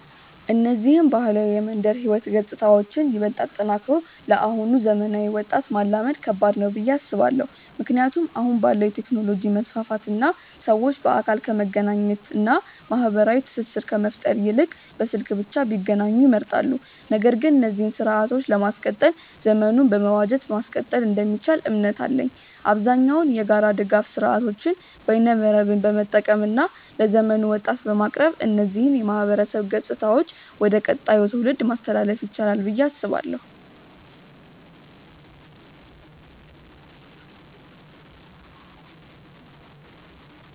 እነዚህን ባህላዊ የመንደር ህይወት ገጽታዎችን ይበልጥ አጠናክሮ ለአሁኑ ዘመናዊ ወጣት ማላመድ ከባድ ነው ብዬ አስባለው። ምክንያቱም አሁን ባለው የቴክኖሎጂ መስፋፋት እና ሰዎች በአካል ከመገናኘት እና ማህበራዊ ትስስር ከመፍጠር ይልቅ በስልክ ብቻ ቢገናኙ ይመርጣሉ። ነገር ግን እነዚህን ስርአቶችን ለማስቀጠል ዘመኑን በመዋጀት ማስቀጠል እንደሚቻል እምነት አለኝ። አብዛኛውን የጋራ ድጋፍ ስርአቶችን በይነመረብን በመጠቀም እና ለዘመኑ ወጣት በማቅረብ እነዚህን የማህበረሰብ ገጽታዎች ወደ ቀጣዩ ትውልድ ማስተላለፍ ይቻላል ብዬ አስባለው።